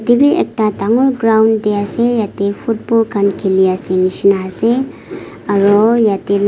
te b ekta dangor ground de ase yete football kan kili ase nishina ase aro yete li.